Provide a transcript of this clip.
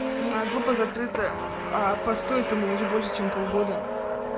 на группа закрытая а посту этому уже больше чем полгода